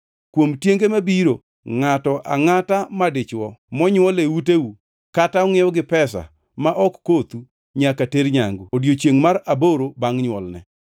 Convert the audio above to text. Kuom tienge mabiro ngʼato angʼata madichwo monywol e uteu kata ongʼiew gi pesa ma ok kothu nyaka ter nyangu, e odiechiengʼ mar aboro bangʼ nywolne.